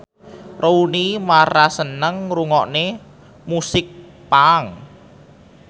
Rooney Mara seneng ngrungokne musik punk